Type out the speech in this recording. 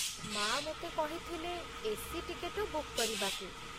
ମା' ମୋତେ କହିଥିଲେ ଏ.ସି. ଟିକେଟ ବୁକ୍ କରିବାକୁ।